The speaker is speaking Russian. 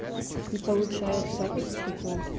и получается этот как его